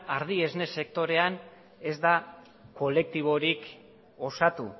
ardi esne sektorean ez da kolektiborik osatu